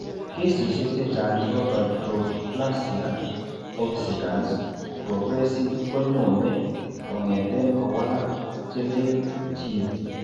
Keesisiek chechang'ap fibrodysplasia ossificans progressiva ko nyone kong'eten kowalak chelel gene.